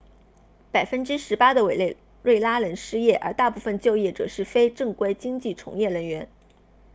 百分之十八的委内瑞拉人失业而大部分就业者是非正规经济从业人员